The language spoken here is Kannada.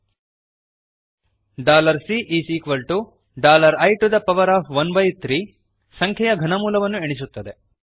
Cಇ13 dollar C is equal to dollar I to the power of one by three ಸಂಖ್ಯೆಯ ಘನಮೂಲವನ್ನು ಎಣಿಸುತ್ತದೆ